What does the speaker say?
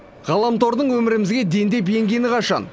ғаламтордың өмірімізге дендеп енгені қашан